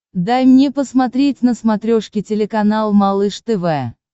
дай мне посмотреть на смотрешке телеканал малыш тв